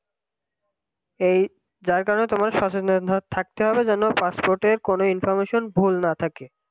এই যার কারণে তোমায় সচেতন থাকতে হবে যেন passport কোন information ভুল না থাকে